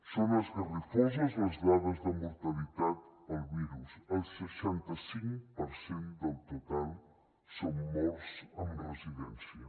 són esgarrifoses les dades de mortalitat pel virus el seixanta cinc per cent del total són morts en residència